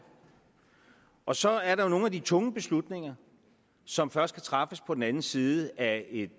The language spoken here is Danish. og så er der nogle af de tunge beslutninger som først kan træffes på den anden side af